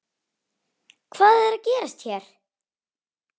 Hvað er að gerast hér?